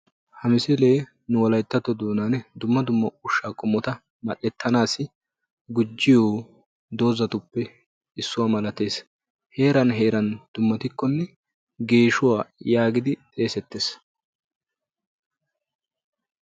Hagee dumma dumma ushsha qommotta mmal'ettannawu maadiya dooza qommo. Heeran heeran dummatikkonne geeshshuwaa geetettiddi xeegetees.